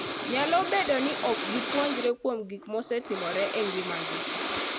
Nyalo bedo ni ok gipuonjre kuom gik mosetimore e ngimagi.